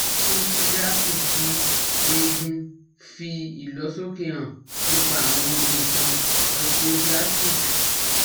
Scintigraphy ti egun fi ilosoke han nipa awon nnkan osteoblastic